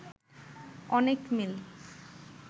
অনেক মিল